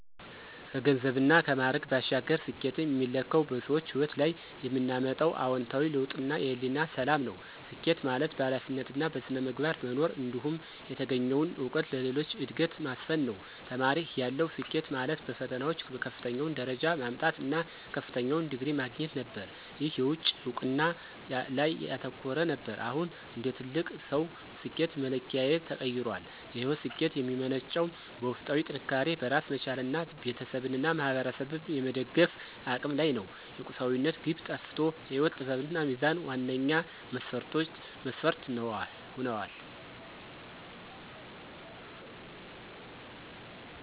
ከገንዘብና ከማዕረግ ባሻገር፣ ስኬትን የሚለካው በሰዎች ሕይወት ላይ የምናመጣው አዎንታዊ ለውጥና የሕሊና ሰላም ነው። ስኬት ማለት በኃላፊነትና በሥነ ምግባር መኖር፣ እንዲሁም የተገኘውን እውቀት ለሌሎች ዕድገት ማስፈን ነው። ተማሪ እያለሁ፣ ስኬት ማለት በፈተናዎች ከፍተኛውን ደረጃ ማምጣት እና ከፍተኛውን ዲግሪ ማግኘት ነበር። ይህ የውጭ እውቅና ላይ ያተኮረ ነበር። አሁን እንደ ትልቅ ሰው፣ ስኬት መለኪያዬ ተቀይሯል። የሕይወት ስኬት የሚመነጨው በውስጣዊ ጥንካሬ፣ በራስ መቻልና ቤተሰብንና ማኅበረሰብን የመደገፍ አቅም ላይ ነው። የቁሳዊነት ግብ ጠፍቶ የሕይወት ጥበብና ሚዛን ዋነኛ መስፈርት ሆነዋል።